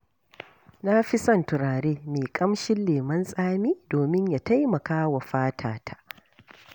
Na fi son turare mai ƙamshin lemon tsami domin ya taimaka wa fatata.